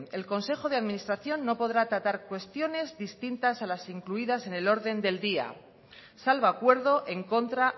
el consejo de administración no podrá tratar cuestiones distintas a las incluidas en el orden del día salvo acuerdo en contra